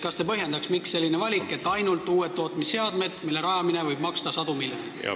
Kas te põhjendaks, miks selline valik, et kõne alla tulevad ainult uued tootmisseadmed, mille töölepanek võib maksta sadu miljoneid?